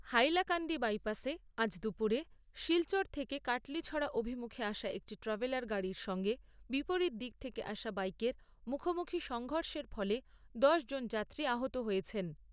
হাইলাকান্দি বাইপাসে আজ দুপুরে শিলচর থেকে কাটলীছড়া অভিমুখে আসা একটি ট্র্যাভেলার গাড়ির সঙ্গে বিপরীত দিক থেকে আসা বাইকের মুখোমুখি সংঘর্ষের ফলে দশ জন যাত্রী আহত হয়েছেন।